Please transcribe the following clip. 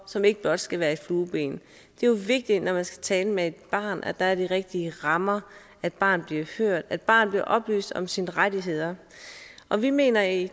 som ikke blot skal være et flueben det er jo vigtigt når man skal tale med et barn at der er de rigtige rammer at barnet bliver hørt at barnet bliver oplyst om sine rettigheder og vi mener i